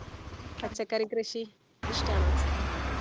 പച്ചക്കറി കൃഷി ഇഷ്ടാണോ